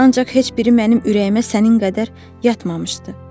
Ancaq heç biri mənim ürəyimə sənin qədər yatmamışdı.